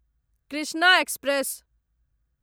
Krishna express